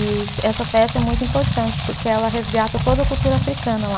E essa festa é muito importante porque ela resgata toda a cultura africana lá.